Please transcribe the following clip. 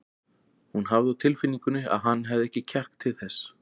Hún hafði á tilfinningunni að hann hefði ekki kjark til þess.